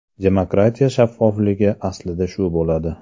Demokratiya shaffofligi aslida shu bo‘ladi.